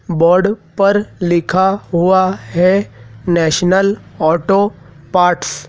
Board पर लिखा हुआ है नेशनल ऑटो पार्ट्स ।